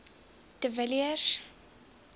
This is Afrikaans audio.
de villiers